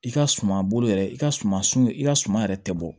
I ka suma bolo yɛrɛ i ka suma sun i ka suma yɛrɛ tɛ bɔ